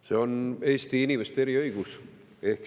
See on eesti inimeste eriõigus.